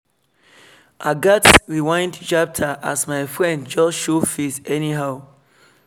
i gats rewind chapter as my friend just show face anyhow